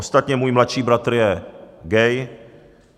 Ostatně můj mladší bratr je gay.